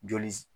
Joli s